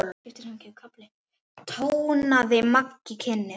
tónaði Maggi kynnir.